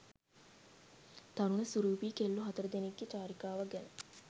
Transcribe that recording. තරුණ සුරූපී කෙල්ලො හතර දෙනෙක්ගෙ චාරිකාවක් ගැන